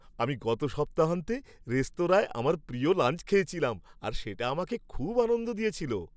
আমি গত সপ্তাহান্তে রেস্তোরাঁয় আমার প্রিয় লাঞ্চ খেয়েছিলাম আর সেটা আমাকে খুব আনন্দ দিয়েছিল।